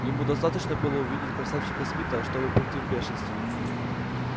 ему достаточно было увидеть красавчика смита чтобы прийти в бешенство